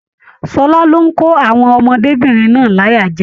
Ṣọlá lo n kò àwọn ọmọdébinrin náà láyà jẹ.